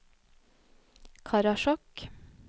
Karasjok